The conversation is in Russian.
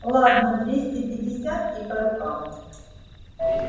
ладно двести пятьдесят и по рукам